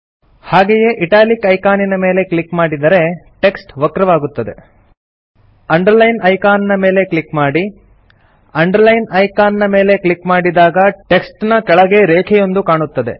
ಹಾಗೆಯೇ italic icon ನ ಮೇಲೆ ಕ್ಲಿಕ್ ಮಾಡಿದರೆ ಟೆಕ್ಸ್ಟ್ ವಕ್ರವಾಗುತ್ತದೆ ಅಂಡರ್ಲೈನ್ ಐಕಾನ್ ಮೇಲೆ ಕ್ಲಿಕ್ ಮಾಡಿ ಅಂಡರ್ಲೈನ್ ಐಕಾನ್ ಮೇಲೆ ಕ್ಲಿಕ್ ಮಾಡಿದಾಗ ಟೆಕ್ಸ್ಟ್ ನ ಕೆಳಗೆ ರೇಖೆಯೊಂದು ಕಾಣುತ್ತದೆ